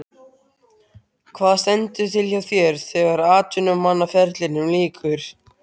Hvað stendur til hjá þér þegar atvinnumannaferlinum lýkur?